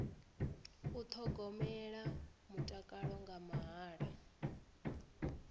u thogomela mutakalo nga mahala